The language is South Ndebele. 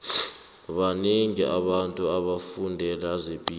banengi abantu abafundele zepilo